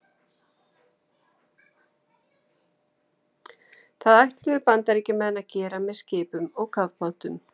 Það ætluðu Bandaríkjamenn að gera með skipum og kafbátum.